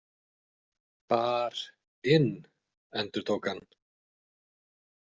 Bar- inn, endurtók hann.